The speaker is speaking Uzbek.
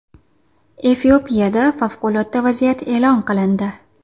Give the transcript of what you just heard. Efiopiyada favqulodda vaziyat e’lon qilindi.